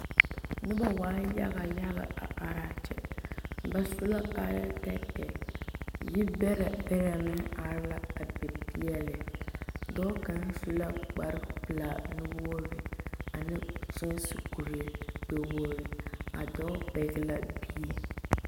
Noba waa yaga yaga are a kyɛ ba su la kaaya tɛɛtɛɛ yi bɛre bɛre are la a be pegle dɔɔ kaŋa su la kpare pelaa wogre ane sɔsekuri gbɛ wogre a dɔɔ pegle la bie.